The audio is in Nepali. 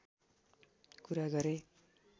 कुरा गरे